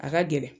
A ka gɛlɛn